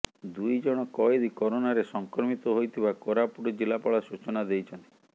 ଦୁଇ ଜଣ କଏଦୀ କରୋନାରେ ସଂକ୍ରମିତ ହୋଇଥିବା କୋରାପୁଟ ଜିଲ୍ଲାପାଳ ସୂଚନା ଦେଇଛନ୍ତି